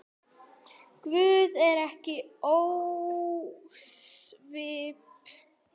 Guð er ekki ósvip